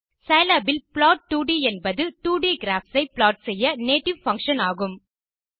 Scilab இல் plot 2ட் என்பது 2ட் கிராப்ஸ் ஐ ப்ளாட் செய்ய நேட்டிவ் பங்ஷன் ஆகும்